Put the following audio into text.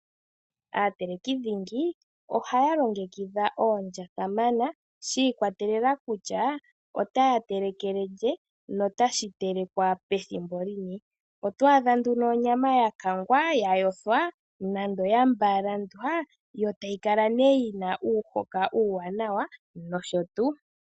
Aateleki dhingi ohaya longekidha oondya kamana shi ikwatelela kutya otaa telekele lye notashi telekwa pethimbo lini . Oto adha nduno onyama ya kangwa , ya yothwa nando ya mbalandwa yo tayi kala ne yi na uuhoka uuwanawa nosho tuu.